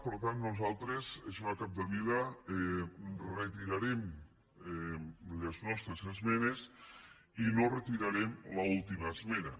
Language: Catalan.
per tant nosaltres senyora capdevila retirarem les nostres esmenes i no retirarem l’última esmena